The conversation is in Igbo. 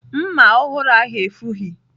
Mma ọhụrụ ahụ efughị ​​.